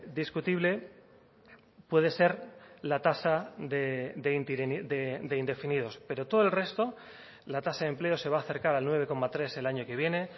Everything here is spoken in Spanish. discutible puede ser la tasa de indefinidos pero todo el resto la tasa de empleo se va a acercar al nueve coma tres el año que viene